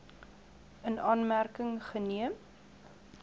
in aanmerking geneem